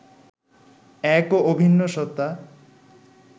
এক ও অভিন্ন সত্তা